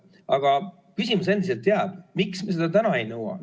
Aga küsimus endiselt jääb: miks me seda täna ei nõua?